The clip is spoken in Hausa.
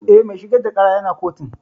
Eh, mai shigar da ƙara ya na kotun